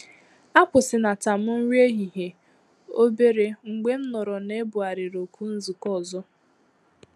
A kwụsịnata m nri ehihie òbèrè mgbe nụrụ na ebugharịrị oku nzukọ ọzọ